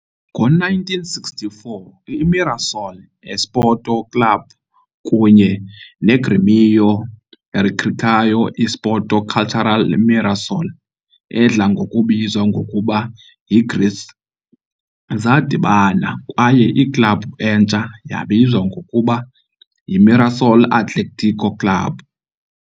Ngo-1964, iMirassol Esporte Clube kunye neGrêmio Recreação Esporte Cultura Mirassol, edla ngokubizwa ngokuba yiGREC, zadibana, kwaye iklabhu entsha yabizwa ngokuba yiMirassol Atlético Clube.